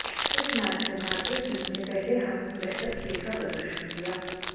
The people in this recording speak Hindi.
इस मैच में भारतीय टीम ने पहले हॉफ में बेहतर खेल का प्रदर्शन किया